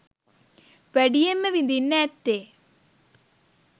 වැඩියෙන්ම විඳින්න ඇත්තේ